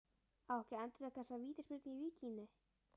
Á ekki að endurtaka þessa vítaspyrnu í Víkinni?